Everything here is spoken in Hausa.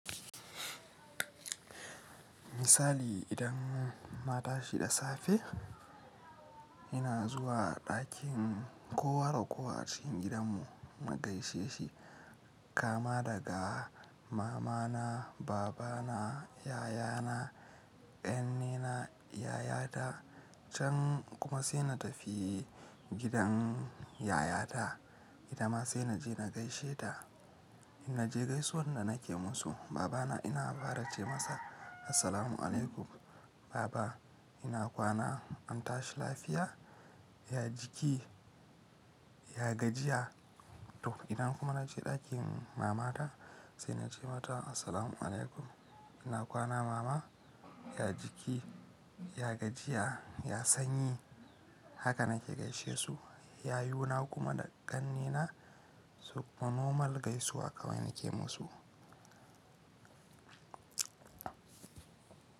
Misali idan na tashi da safe, ina zuwa ɗakin kowa da kowa cikin gidanmu na gaishe shi, kama daga mamana, babana, yayana, ƙannena, yayata. Can kuma sai na tafi gidan yayata, gida ma sai na je na gaishe ta. In naje gaisuwan da nake musu, babana ina fara ce masa "Assalamu alaikum baba, ina kwana, an tashi lafiya? Ya jiki? Ya gajiya?" To ina kuma na je ɗakin mamata, sai na ce mata "Assalamu alaikum, ina kwana mama? Ya jiki? Ya gajiya? Ya sanyi?" Haka nake gaishe su. Yayuna kuma da ƙannena su kuma normal gaisuwar kawai nake musu.